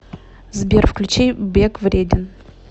сбер включи бег вреден